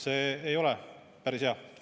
See ei ole päris hea.